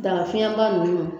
Dagafiɲɛba ninnu